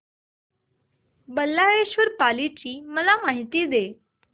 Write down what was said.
बल्लाळेश्वर पाली ची मला माहिती दे